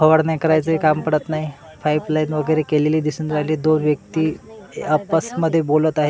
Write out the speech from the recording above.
और नाही करायचं काम पडत नाही पाईप लाईन वगैरे केलेली दिसून राहिलेली आहे ते आपस मध्ये बोलत आहेत.